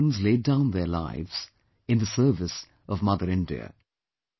Their husbands laid down their lives in the service of mother India